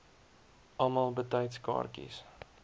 almal betyds kaartjies